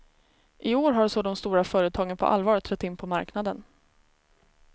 I år har så de stora företagen på allvar trätt in på marknaden.